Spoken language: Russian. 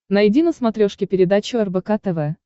найди на смотрешке передачу рбк тв